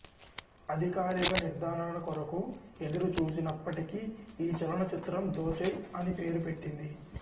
అధికారిక నిర్ధారణ కొరకు ఎదురుచూసినప్పటికీ ఈ చలన చిత్రం దోచేయ్ అని పేరు పెట్టబడింది